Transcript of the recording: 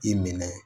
I minɛ